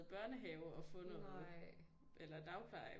I børnehave og få noget eller dagpleje